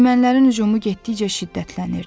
Ermənilərin hücumu getdikcə şiddətlənirdi.